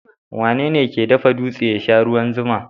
Wane ke dafa dutse ya sha ruwan zuma?